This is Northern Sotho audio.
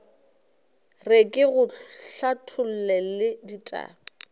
re ke go hlathollele ditaba